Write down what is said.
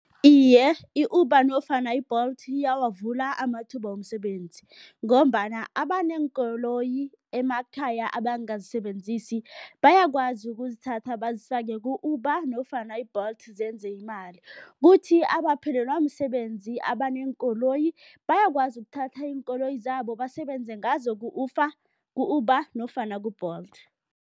Iye, i-Uber nofana i-Bolt iyawavula amathuba womsebenzi ngombana abaneenkoloyi emakhaya abangazisebenzisi bayakwazi ukuzithatha bazifake ku-Uber nofana i-Bolt zenze imali. Kuthi abaphelelwa msebenzi abaneenkoloyi, bayakwazi ukuthatha iinkoloyi zabo basebenze ngazo ku-Uber nofana ku-Bolt.